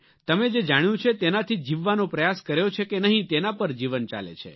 તમે જે જાણ્યું છે તેનાથી જીવવાનો પ્રયાસ કર્યો છે કે નહીં તેના પર જીવન ચાલે છે